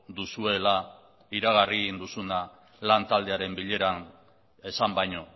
duzuela iragarri egin duzuna lantaldearen bileran esan baino